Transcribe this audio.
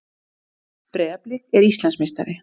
Breiðablik er Íslandsmeistari